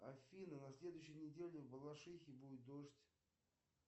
афина на следующей неделе в балашихе будет дождь